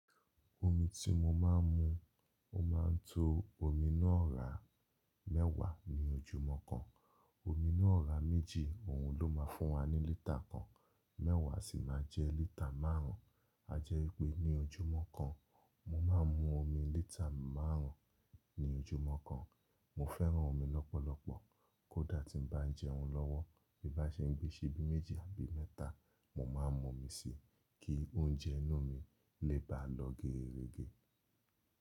Omi tí mo máa ń mu, ó máa ń to omi náà ra mẹ́wàá ní ojúmọ́ kan. Omi náà ọra méjì òun ló máa fún wa ní lítà kan, mẹ́wàá sì máa jẹ lítà márùn ún. A jẹ́ wípé ní ojúmọ́ kan, mo máa ń mu omi lítà márùn ún ní ojúmọ́ kan. Mo fẹ́ràn omi lọ́pọ̀lọpọ̀ kó dà tí ń bá ń jẹun lọ́wọ́, bí bá ṣe ń gbé síibi méjì àbí mẹ́ta, mo máa ń mu omi si, kí oúnjẹ inú mi lè bá lọ geerege.